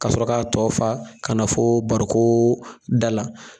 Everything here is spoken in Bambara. Ka sɔrɔ k'a fa t kana foo bari koo dala